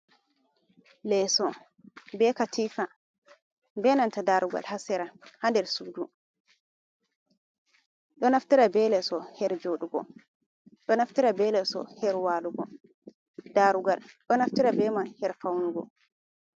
Leso be katifa, be nanta ɗarugal ha sera, ha nɗer suɗu. Ɗo naftira be leso her joɗogo, ɗo naftara be leso her walugo. Ɗarugal ɗo naftara beman her faunugo.